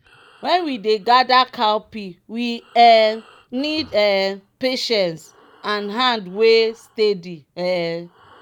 when we de gather cowpea we um need um patience and hand wey steady. um